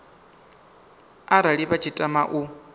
arali vha tshi tama u